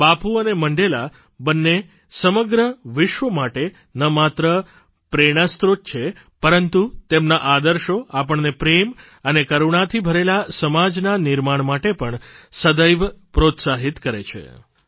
બાપુ અને મંડેલા બંને સમગ્ર વિશ્વ માટે ન માત્ર પ્રેરણાસ્ત્રોત છે પરંતુ તેમના આદર્શો આપણને પ્રેમ અને કરૂણાથી ભરેલા સમાજના નિર્માણ માટે પણ સદૈવ પ્રોત્સાહિત કરે છે